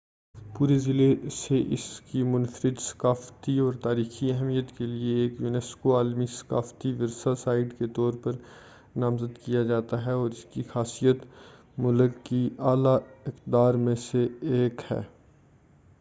پورے ضلع سے اس کی منفرد ثقافتی اور تاریخی اہمیت کے لئے ایک یونیسکو عالمی ثقافتی ورثہ سائٹ کے طور پر نامزد کیا جاتا ہے اور اس کی خاصیت ملک کی اعلی اقدار میں سے ایک ہے